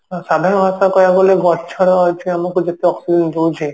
ସାଧାରଣ ଅର୍ଥରେ କହିବାକୁ ଗଲେ ଗଛର ଆମକୁ ଯେତେ oxygen ଦଉଛି